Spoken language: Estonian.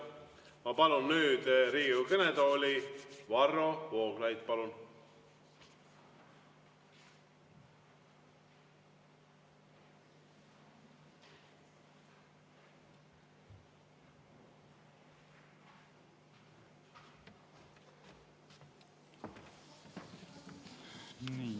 Ma palun nüüd Riigikogu kõnetooli, Varro Vooglaid!